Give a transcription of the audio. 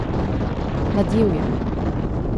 Ladjevje.